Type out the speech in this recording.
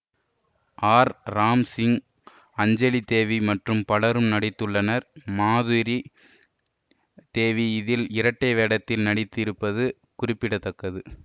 R Ramsingh Anjalidevi மற்றும் பலரும் நடித்துள்ளனர் மாதுரி தேவி இதில் இரட்டை வேடத்தில் நடித்திருப்பது குறிப்பிட தக்கது